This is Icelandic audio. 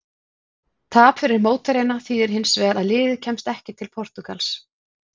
Tap fyrir mótherjana þýðir hins vegar að liðið kemst ekki til Portúgals.